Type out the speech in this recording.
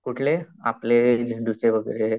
कुठले आपले झेंडूचे वगैरे